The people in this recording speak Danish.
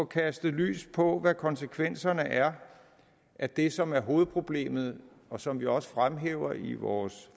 kaste lys over hvad konsekvenserne er af det som er hovedproblemet og som vi også fremhæver i vores